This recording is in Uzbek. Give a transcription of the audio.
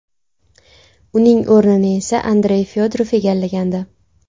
Uning o‘rnini esa Andrey Fyodorov egallagandi .